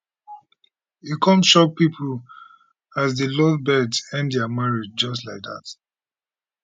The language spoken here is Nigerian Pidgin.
e come shock pipo as di lovebirds end dia marriage just like dat